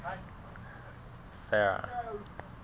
sera